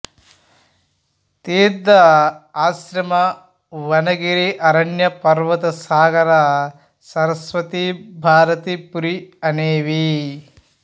తీర్ధ ఆశ్రమ వన గిరి అరణ్య పర్వత సాగర సరస్వతి భారతి పురి అనేవి